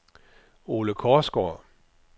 Ole Korsgaard